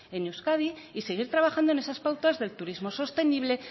en euskadi y seguir trabajando en esas pautas del turismo sostenible